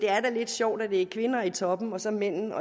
er lidt sjovt at det er kvinder i toppen og så mændene